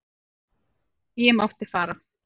Ég mátti fara.